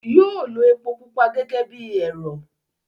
yóó lo epo pupa gẹ́gẹ́ bí ẹ̀rọ̀.